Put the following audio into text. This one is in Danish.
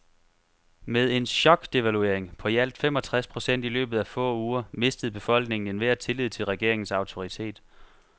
Med en chokdevaluering på i alt fem og tres procent i løbet af få uger mistede befolkningen enhver tillid til regeringens autoritet.